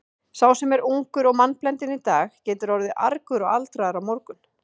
Sá sem er ungur og mannblendinn í dag getur orðið argur og aldraður á morgun.